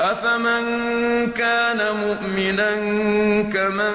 أَفَمَن كَانَ مُؤْمِنًا كَمَن